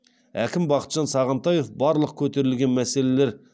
әкім бақытжан сағынтаев барлық көтерілген мәселелер